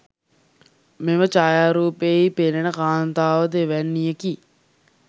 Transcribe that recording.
මෙම ඡායාරූපයෙහි පෙනෙන කාන්තාව ද එවැන්නියකි.